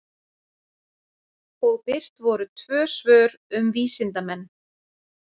Og birt voru tvö svör um vísindamenn.